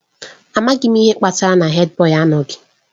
Amaghị m ihe kpatara na Hèdbọyi na-anọghị